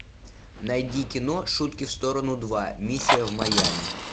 найди кино шутки в сторону два миссия в майами